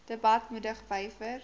debat moedig wyer